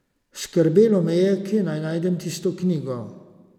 Skrbelo me je, kje naj najdem tisto knjigo.